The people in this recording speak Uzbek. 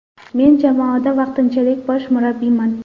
Men jamoada vaqtinchalik bosh murabbiyman.